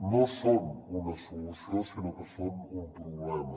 no són una solució sinó que són un problema